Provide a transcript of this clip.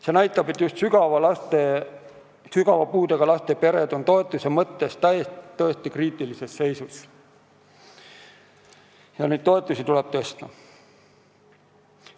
See näitab, et just sügava puudega laste pered on toetuse mõttes tõesti kriitilises seisus ja nende toetusi tuleb tõsta.